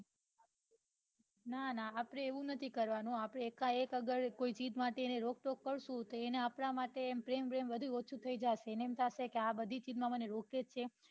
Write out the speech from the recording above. ના ના આપડે એવું નથી કરવાનું આપડે એક એક કોઈ ચીજ માટે રોક ટોક કરશું તો એને આપડા માટે એને એવું થશે કે આપડે તેને બઘી ચીજ માં રોકીએ છે